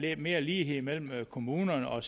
er mere lighed mellem kommunerne og